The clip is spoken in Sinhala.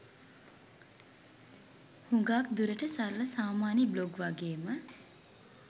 හුගාක් දුරට සරල සාමාන්‍ය බ්ලොග් වගේම